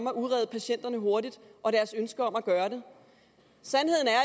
at udrede patienterne hurtigt og deres ønske om at gøre det sandheden er